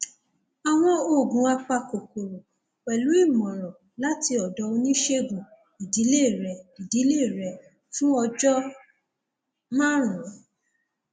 àwọn oògùn apakòkòrò pẹlú ìmọràn láti ọdọ oníṣègùn ìdílé rẹ ìdílé rẹ fún ọjọ márùnún